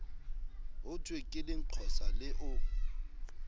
hothwe ke lenqosa le o